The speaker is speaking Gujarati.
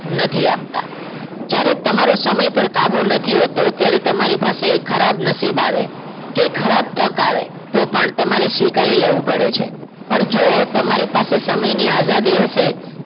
નથી આપતા જ્યારે તમારો સમય ઉપર કાબુ નથી હોતો ત્યારે તમારી પાસે ખરાબ નસીબ આવે કે ખરાબ તક આવે તો પણ તમારી સ્વીકારી લેવું પડે છે પણ જો તમારી પાસે સમયની આઝાદી હશે